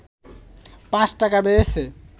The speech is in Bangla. ৫ টাকা বেড়েছে